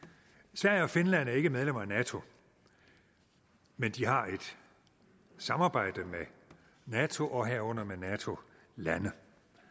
sverige og finland er ikke medlemmer af nato men de har et samarbejde med nato herunder med nato lande